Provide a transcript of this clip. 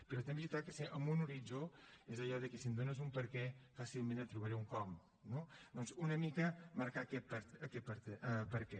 però també és veritat que ha de ser amb un horitzó és allò de si em dónes un perquè fàcilment et trobaré un com no doncs una mica marcar aquest perquè